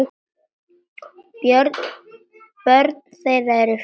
Börn þeirra eru fjögur.